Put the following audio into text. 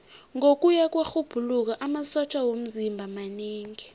ngokuya kwerhubhululo amasotja womzimba manengi